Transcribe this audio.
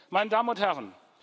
meine Damen und Herren